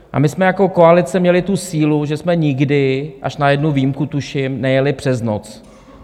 A my jsme jako koalice měli tu sílu, že jsme nikdy, až na jednu výjimku tuším, nejeli přes noc.